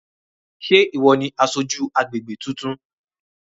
Sé ìwọ ni aṣojú agbègbè tuntun?